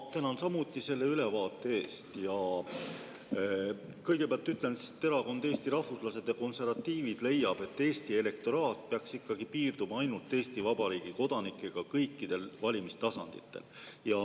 Ma tänan samuti selle ülevaate eest ja kõigepealt ütlen, et erakond Eesti Rahvuslased ja Konservatiivid leiab, et Eesti elektoraat peaks ikkagi piirduma ainult Eesti Vabariigi kodanikega kõikidel valimistasanditel.